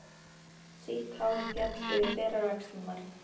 Sítt hárið féll yfir berar axlirnar.